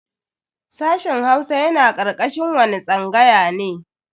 Sashen Hausa yana karkashin wani tsangaya ne?